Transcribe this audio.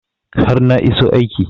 har na iso aiki